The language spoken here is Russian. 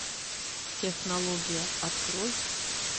технология открой